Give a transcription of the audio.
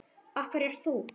Af hverju ert þú?